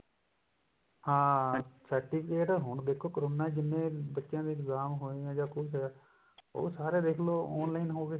ਹਾਂ certificate ਹੁਣ ਦੇਖੋ corona ਚ ਜਿੰਨੇ ਬੱਚਿਆ ਦੇ exam ਹੋਏ ਨੇ ਜਾ ਕੁੱਛ ਉਹ ਸਾਰੇ ਦੇਖਲੋ online ਹੋ ਗਏ